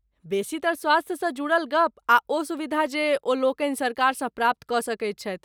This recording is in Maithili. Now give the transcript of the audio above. बेसीतर स्वास्थ्यसँ जुड़ल गप आ ओ सुविधा जे ओ लोकनि सरकारसँ प्राप्त कऽ सकैत छथि।